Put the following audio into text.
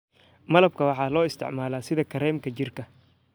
Malabka waxaa loo isticmaalaa sida kareemka jirka.